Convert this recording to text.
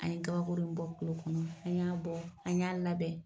An ye kabakuru bɔ ku kɔnɔ an y'a bɔ an y'a labɛn.